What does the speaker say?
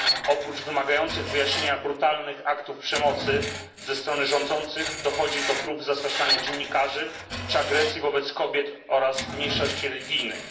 Oprócz wymagających wyjaśnienia brutalnych aktów przemocy, ze strony rządzących dochodzi do prób zastraszania dziennikarzy czy agresji wobec kobiet i mniejszości religijnych.